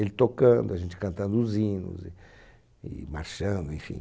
Ele tocando, a gente cantando os hinos e e marchando, enfim.